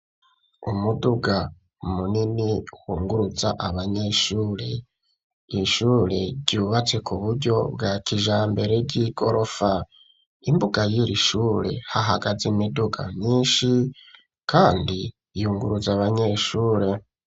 Umuduga munini wunguruza abanyeshure ishure ryubatse kuburyo bwa kijambere ry'igorofa imbuga y'irishure hahagaze imiduga myinshi kandi yunguruza abanyeshure.